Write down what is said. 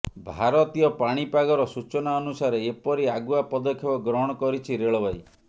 ଭାରତୀୟ ପାଣିପାଗର ସୂଚନା ଅନୁସାରେ ଏପରି ଆଗୁଆ ପଦକ୍ଷେପ ଗ୍ରହଣ କରିଛି ରେଳବାଇ